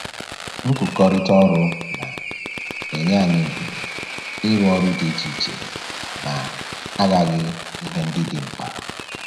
Nkụkọrịta ọrụ na-enye anyị ohere ịrụ ọrụ dị iche iche na-aghaghị ihe ndị dị mkpa